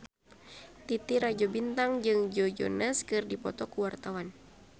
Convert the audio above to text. Titi Rajo Bintang jeung Joe Jonas keur dipoto ku wartawan